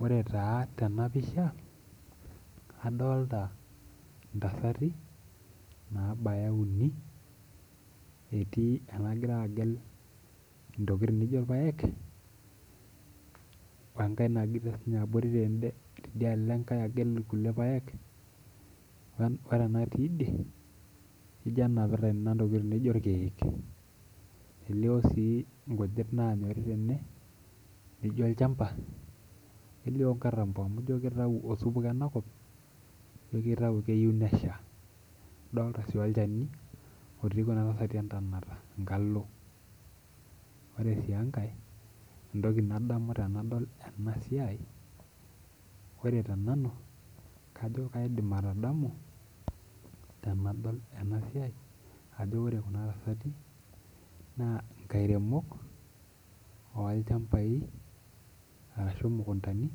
Ore taa tenapisha adolta ntasati nabaya uni etii enagira agel ntokitin nijo orpaek wenkae natii abori enkae nagira agel irkulie paek ore ena natii idie ijo enapita ntokitin naijo irkiek nelio si nkujit nanyori tene nijo olchamba nelio si nkatambo amu ijo kitau osupuko enakop ijo kitau keyieu nesha idolta su olchani otui entonata enkalo ore sj enkae entoki nadamu tanadol enasiai ore tenanu kajo kajidim atadolu tanadol enasiai ajo ore kuna tasati na nkairemok olchambaj ashu mukundani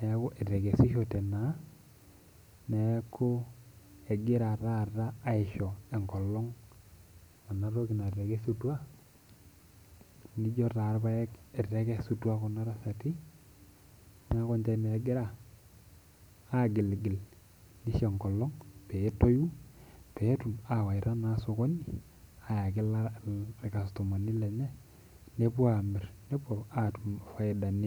neaku etekesishote taa neaku egira taata aisho enkolong enatoki natekesutua ijo irpaek etekesutua kuna tasati neaku ninche na egira agilgil nisho enkolong petoyu petum awaita na osokoni ayaki irkastomani lenye nepuo amir nepuo atum faidani enye.